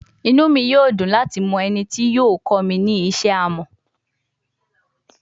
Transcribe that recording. Inu mi yoo dun lati mọ eni ti yoo kọ mi ni ṣiṣe amọ